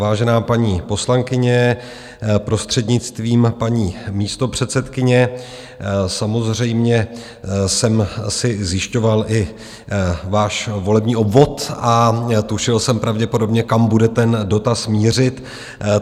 Vážená paní poslankyně, prostřednictvím paní místopředsedkyně, samozřejmě jsem si zjišťoval i váš volební obvod a tušil jsem pravděpodobně, kam bude ten dotaz mířit.